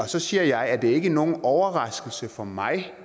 så siger jeg at det ikke er nogen overraskelse for mig